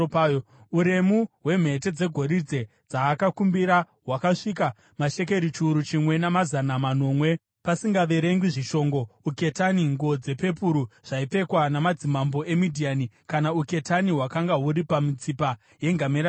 Uremu hwemhete dzegoridhe dzaakakumbira hwakasvika mashekeri chiuru chimwe namazana manomwe , pasingaverengwi zvishongo, uketani, nguo dzepepuru dzaipfekwa namadzimambo eMidhiani kana uketani hwakanga huri pamitsipa yengamera dzavo.